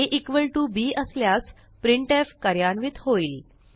a equal to b असल्यास printf कार्यान्वित होईल